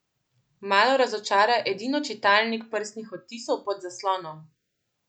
Malo razočara edino čitalnik prstnih odtisov pod zaslonom.